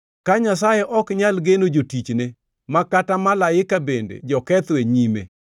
Ka Nyasaye ok nyal geno jotichne, ma kata malaika bende joketho e nyime,